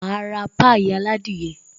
Máa ra pie aládìyẹ